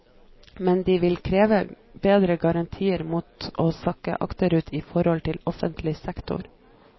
Men de vil kreve bedre garantier mot å sakke akterut i forhold til offentlig sektor.